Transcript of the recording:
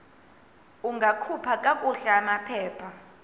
ungakhupha kakuhle amaphepha